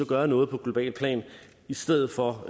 gøre noget på globalt plan i stedet for